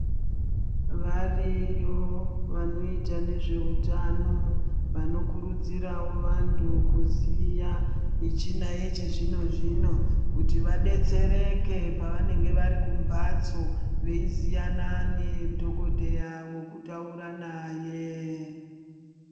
Variyo vanoita nezveutano, vanokurudzirwawo vanthu kuziya michina yechizvino-zvino kuti vadetsereke pavanenge vari kumbatso, veiziyana nedhokodheya wekutaura naye.